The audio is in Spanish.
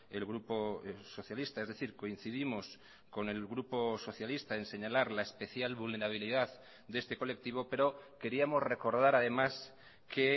el grupo socialista es decir coincidimos con el grupo socialista en señalar la especial vulnerabilidad de este colectivo pero queríamos recordar además que